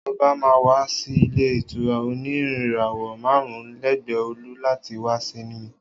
Oba má n wa si ile ìtura òní ìràwọ màrún lẹgbẹ ọolú, láti wá simi